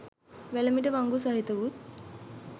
වැලමිටි වංගු සහිතවුත්